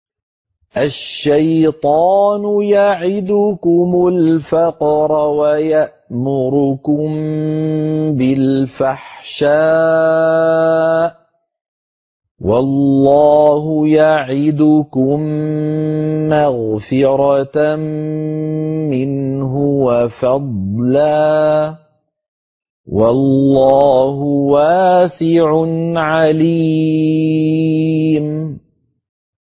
الشَّيْطَانُ يَعِدُكُمُ الْفَقْرَ وَيَأْمُرُكُم بِالْفَحْشَاءِ ۖ وَاللَّهُ يَعِدُكُم مَّغْفِرَةً مِّنْهُ وَفَضْلًا ۗ وَاللَّهُ وَاسِعٌ عَلِيمٌ